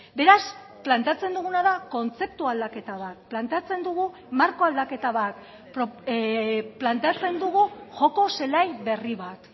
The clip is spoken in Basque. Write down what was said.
beraz planteatzen duguna da kontzeptu aldaketa bat planteatzen dugu marko aldaketa bat planteatzen dugu joko zelai berri bat